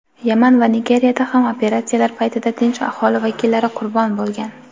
Yaman va Nigeriyada ham operatsiyalar paytida tinch aholi vakillari qurbon bo‘lgan.